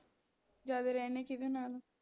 ਜ਼ਿਆਦਾ ਰਹਿੰਦੇ ਕਿਹਦੇ ਨਾਲ ਹੋ